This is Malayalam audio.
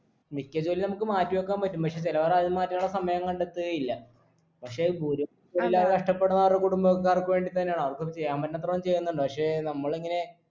മിക്ക ജോലികളും നമുക്ക് മാറ്റിവെക്കാൻ പറ്റും പക്ഷേ ചിലവർ അത് മാറ്റാനുള്ള സമയം കണ്ടെത്തുകയില്ല പക്ഷെ ഗുരു ത്തുല്ലാതെ കഷ്ട്ടപ്പെടുന്നവരുടെ കുടുംബക്കാർക്ക് വേണ്ടി തന്നെയാണ് അവർക്കത് ചെയ്യാൻ പറ്റുന്നത്ര അവർ ചെയ്യുന്നുണ്ട് പക്ഷേ നമ്മളിങ്ങനെ